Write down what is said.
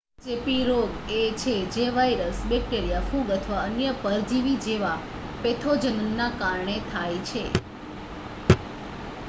ચેપી રોગ એ છે જે વાઇરસ બૅક્ટેરિયા ફૂગ અથવા અન્ય પરજીવી જેવા પૅથોજનના કારણે થાય છે